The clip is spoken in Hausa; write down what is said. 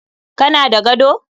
Ka na da gado?